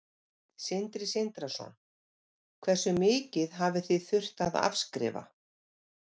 Sindri Sindrason: Hversu mikið hafið þið þurft að afskrifa?